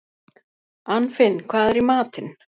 Anfinn, hvað er í matinn?